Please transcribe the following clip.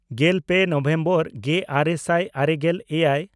ᱜᱮᱞᱯᱮ ᱱᱚᱵᱷᱮᱢᱵᱚᱨ ᱜᱮᱼᱟᱨᱮ ᱥᱟᱭ ᱟᱨᱮᱜᱮᱞ ᱮᱭᱟᱭ